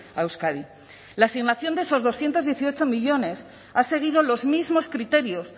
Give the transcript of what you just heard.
a euskadi la asignación de esos doscientos dieciocho millónes ha seguido los mismos criterios